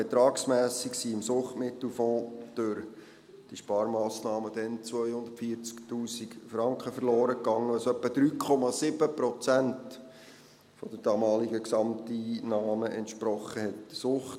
Betragsmässig sind im Suchtmittelfonds durch die Sparmassnahmen dann 240’000 Franken verloren gegangen, was so etwa 3,7 Prozent der damaligen Gesamteinnahmen entsprochen hat.